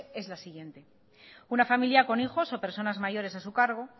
es la siguiente una familia con hijos o personas mayores a su cargo